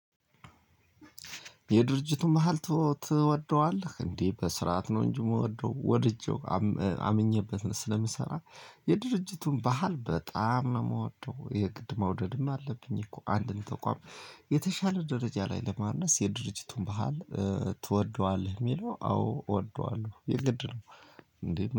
የድርጅቱ መሃል ትወደዋለህ እንዴ? በስርዓት ነው እንጂ የምወደው ወድጄው አምኜበት ስለምሰራ። የድርጅቱን ባህል በጣም ነው የምወደው የግድ መውደድም አለብኝ። እኮ አንድን ተቋም። የተሻለ ደረጃ ላይ ለማድረስ የድርጅቱን ባህል። ትወደዋለህ? ሚለው አዎ እወደዋለሁ የግድ ነው እንዴ